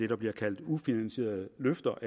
der bliver kaldt ufinansierede løfter